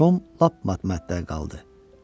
Tom lap matmətdə qaldı.